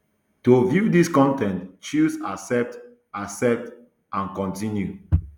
to view dis con ten t choose accept accept and continue